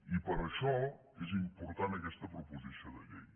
i per això és important aquesta proposició de llei